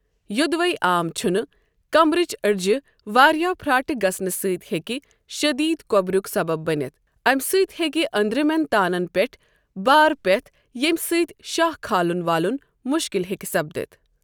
یوٚدوے عام چھُنہ، کمبرٕچ أڑجِہ واریاہ پھراٹھ گژھنہ سۭتۍ ہیکِہ شدید کۄبرُک سبب بٔنِتھ، اَمِہ سۭتۍ ہیکہ أندرِمین تانن پیٹھ بار پیتھ ییمۍ سۭتۍ شاہ کھالن والُن مشکل ہیٚکہ سپدِتھ۔ ۔